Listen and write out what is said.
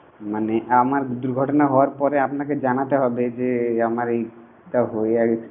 মানে আমার দুর্ঘটনা হওয়ার পরে আপনাকে জানাতে হবে যে আমার এই